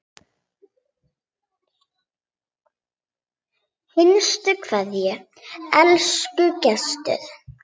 HINSTA KVEÐJA Elsku Gestur.